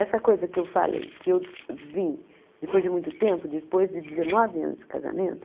Essa coisa que eu falei, que eu vi depois de muito tempo, depois de dezenove anos de casamento...